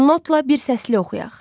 Notla bir səslik oxuyaq.